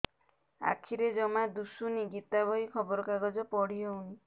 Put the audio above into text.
ଆଖିରେ ଜମା ଦୁଶୁନି ଗୀତା ବହି ଖବର କାଗଜ ପଢି ହଉନି